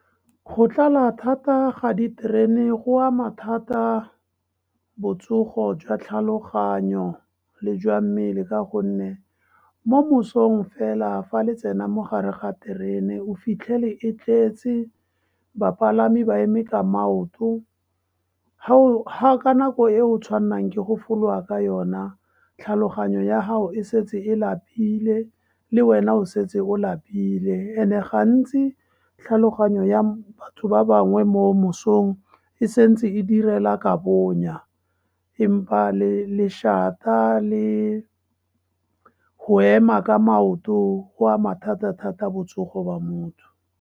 Go tlala thata ga diterene go ama thata botsogo jwa tlhaloganyo le jwa mmele, ka gonne mo mosong fela fa le tsenang mogare ga terene, o fitlhele e tletse bapalami ba eme ka maoto ka nako e o tshwannang ke go fologa ka yona, tlhaloganyo ya hao e setse e lapile, le wena o setse o lapile. And-e gantsi, tlhaloganyo ya batho ba bangwe mo mosong e santse e direla ka bonya, empa lešata le go ema ka maoto go ama thata-thata botsogo ba motho.